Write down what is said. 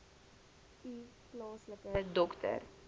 u plaaslike dokter